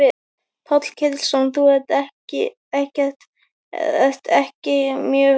Páll Ketilsson: Þú ert ekki mjög ánægð með þetta?